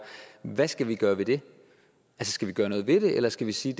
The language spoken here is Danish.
hvad skal vi gøre ved det skal vi gøre noget ved det eller skal vi sige